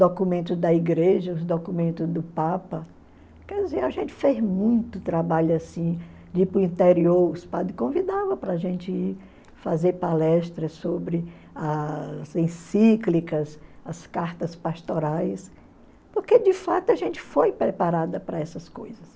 documentos da igreja, os documentos do Papa, quer dizer, a gente fez muito trabalho assim, de ir para o interior, os padres convidavam para a gente fazer palestras sobre as encíclicas, as cartas pastorais, porque de fato a gente foi preparada para essas coisas.